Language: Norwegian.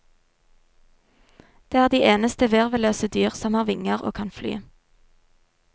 De er de eneste virvelløse dyr som har vinger og kan fly.